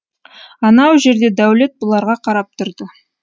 анау жерде дәулет бұларға қарап тұрды